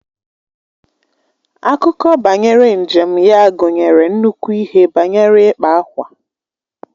Akụkọ banyere njem ya gụnyere nnukwu ihe banyere ịkpa ákwà